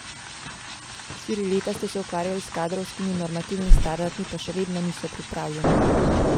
Štiri leta ste se ukvarjali s kadrovskimi normativi in standardi, pa še vedno niso pripravljeni.